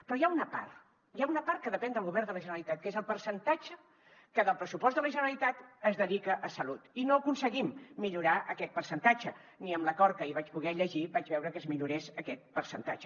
però hi ha una part hi ha una part que depèn del govern de la generalitat que és el percentatge que del pressupost de la generalitat es dedica a salut i no aconseguim millorar aquest percentatge ni en l’acord que ahir vaig poder llegir vaig veure que es millorés aquest percentatge